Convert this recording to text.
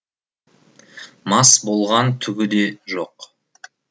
мас болған түгі де жоқ